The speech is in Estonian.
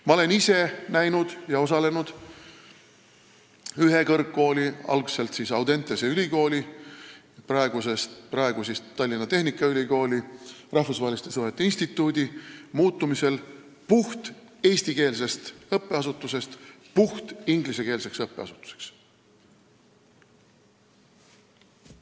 Ma olen ise kogenud ühe kõrgkooli, algselt Audentese ülikooli, praeguse Tallinna Tehnikaülikooli rahvusvaheliste suhete instituudi muutumist puhteestikeelsest õppeasutusest puhtingliskeelseks üksuseks.